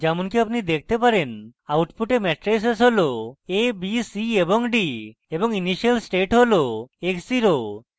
যেমনকি আপনি দেখনে output matrices a b c d এবং initial state হল x zero have